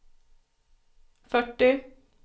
fyrtio